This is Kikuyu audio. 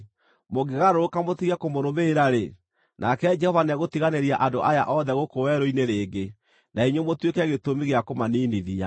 Mũngĩgarũrũka mũtige kũmũrũmĩrĩra-rĩ, nake Jehova nĩegũtiganĩria andũ aya othe gũkũ werũ-inĩ rĩngĩ, na inyuĩ mũtuĩke gĩtũmi gĩa kũmaniinithia.”